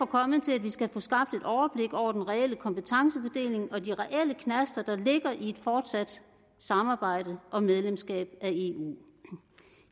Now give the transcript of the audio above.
kommet til at vi skal få skabt et overblik over den reelle kompetencefordeling og de reelle knaster der ligger i et fortsat samarbejde om medlemskab af eu